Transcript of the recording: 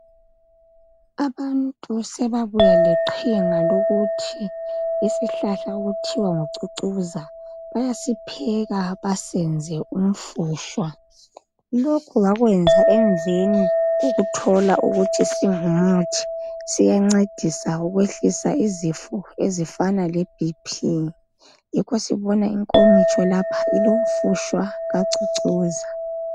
Abantu sebabuya leqhinga lokuthi isihlahla okuthiwa ngucucuza bayasipheka basenze umfutshwa. Lokhu bakwenza emveni kokuthola ukuthi singumuthi siyancedisa ukwehlisa izifo ezifana leBP yikho sibona inkomotsho lapha ilomfutshwa kacucuza.